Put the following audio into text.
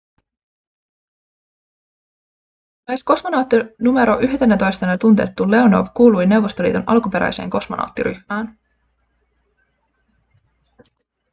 myös kosmonautti nro 11:nä tunnettu leonov kuului neuvostoliiton alkuperäiseen kosmonauttiryhmään